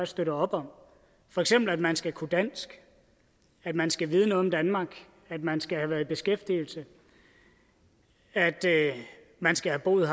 støtter op om for eksempel at man skal kunne dansk at man skal vide noget om danmark at man skal have været i beskæftigelse at man skal have boet